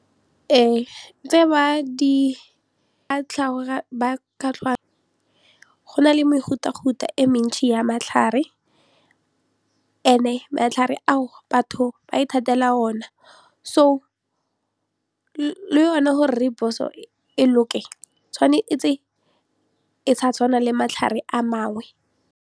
Tse ba di go na le mehutafuta e mentsi ya matlhare and-e matlhare a o batho ba ithatela ona so le yone gore rooibos-o e loke tshwanetse e sa tshwana le matlhare a mangwe.